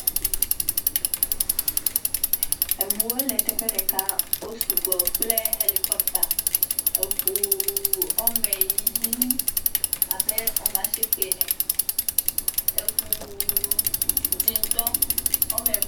Eŋuwo le teƒe ɖeka. Wo sugbɔ kple ʋelikɔpta. Eŋuuuu woame yiiii abe woame ashieke ene. Eŋuu dzẽtɔ woame ve.